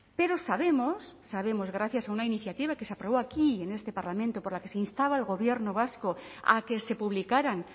pero sabemos sabemos gracias a una iniciativa que se aprobó aquí en este parlamento por la que se instaba al gobierno vasco a que se publicaran